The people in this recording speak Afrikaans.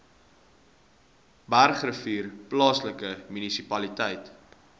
bergrivier plaaslike munisipaliteit